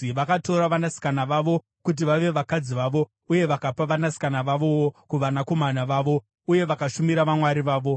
Vakatora vanasikana vavo kuti vave vakadzi vavo uye vakapa vanasikana vavowo kuvanakomana vavo, uye vakashumira vamwari vavo.